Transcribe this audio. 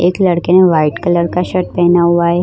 एक लड़के ने वाइट कलर का शर्ट पहना हुआ है।